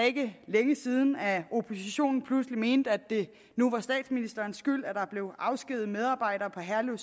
ikke længe siden at oppositionen pludselig mente at det nu var statsministerens skyld at der blev afskediget medarbejdere på herlev